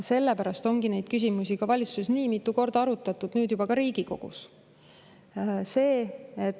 Sellepärast ongi neid küsimusi valitsuses nii mitu korda arutatud, nüüd juba ka Riigikogus.